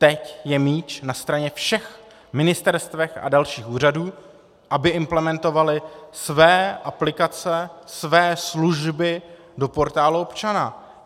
Teď je míč na straně všech ministerstev a dalších úřadů, aby implementovaly své aplikace, své služby do portálu občana.